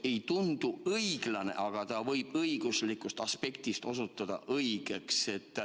See ei tundu õiglane, aga õiguslikust aspektist võib osutuda õigeks.